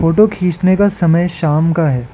Photo खींचने का समय शाम का है।